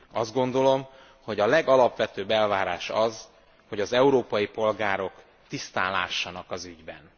Azt gondolom, hogy a legalapvetőbb elvárás az, hogy az európai polgárok tisztán lássanak az ügyben.